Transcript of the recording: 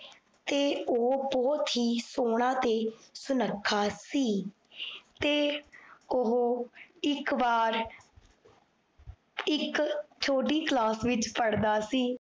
ਤੇ ਓਹ ਬੋਹਤ ਹੀ ਸੋਹਨਾ ਤੇ ਸੁਨਾਖਾ ਸੀ ਤੇ ਓਹੋ ਇਕ ਵਾਰ, ਇਕ ਛੋਟੀ class ਪੜ੍ਹਦਾ ਸੀ